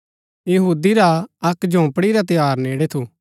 यहूदी रा अक्क झोपड़ी रा त्यौहार नेड़ै थू